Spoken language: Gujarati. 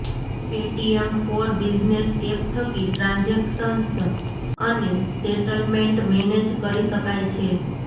પેટીએમ ફોર બિઝનેસ એપ થકી ટ્રાન્જેક્શન્સ અને સેટલમેન્ટ મેનેજ કરી શકાય છે